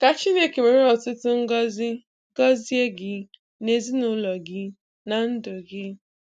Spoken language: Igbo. Ka Chineke were ọtụtụ ngọzi gọzie gị na ezinụụlọ gị na ndụ gị.